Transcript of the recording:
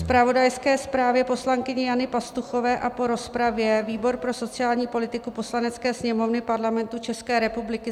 ... zpravodajské zprávě poslankyně Jany Pastuchové a po rozpravě výbor pro sociální politiku Poslanecké sněmovny Parlamentu České republiky